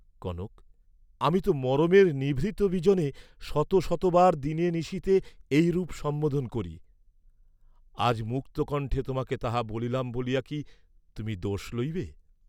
কনক, আমি তো মরমের নিভৃত বিজনে শত শতবার দিনে নিশীথে এইরূপ সম্বোধন করি, আজ, মুক্তকণ্ঠে তোমাকে তাহা বলিলাম বলিয়া কি তুমি দোষ লইবে?